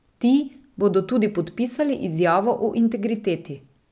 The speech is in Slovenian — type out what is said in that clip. Ti bodo tudi podpisali izjavo o integriteti.